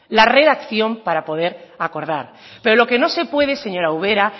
la redacción para poder acordar pero lo que no se puede señora ubera